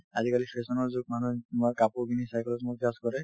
আজিকালি fashion ৰ যুগ মানুহে তোমাৰ কাপোৰ খিনি চাই পেলাই তোমাক judge কৰে